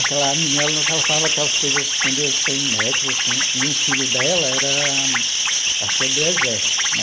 Aquela menina, ela falava aquelas coisas entendeu sem nexo, assim, e o filho dela era, acho que era do exército né.